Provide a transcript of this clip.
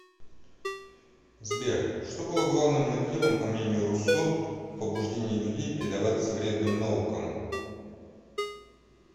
сбер что было главным мотивом по мнению руссо в побуждении людей предаваться вредным наукам